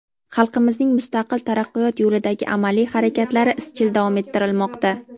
xalqimizning mustaqil taraqqiyot yo‘lidagi amaliy harakatlari izchil davom ettirilmoqda.